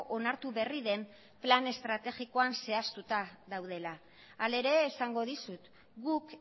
onartu berri den plan estrategikoan zehaztuta daudela hala ere esango dizut guk